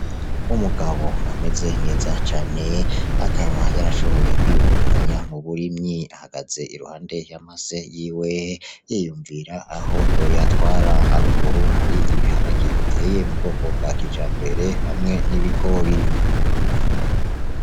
Umugabo ameze neza cane, akaba yarashoboye kwiyungunganya muburimyi. Ahagaze iruhande y'amase yiwe yiyumvira aho yoyatwara. Haruguru hari ibiharage biteye m’ubwoko bwa kijambere cambere hamwe n'ibigori.